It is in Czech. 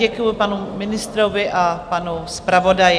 Děkuji panu ministrovi a panu zpravodaji.